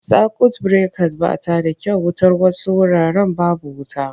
Sakwut birekat ba ta da kyau wutar wasu wuraren babu wuta.